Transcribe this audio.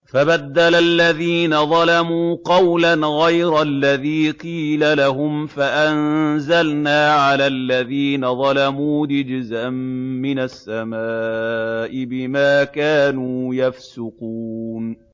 فَبَدَّلَ الَّذِينَ ظَلَمُوا قَوْلًا غَيْرَ الَّذِي قِيلَ لَهُمْ فَأَنزَلْنَا عَلَى الَّذِينَ ظَلَمُوا رِجْزًا مِّنَ السَّمَاءِ بِمَا كَانُوا يَفْسُقُونَ